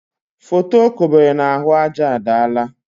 Foto o kobere n' ahụ aja adaala.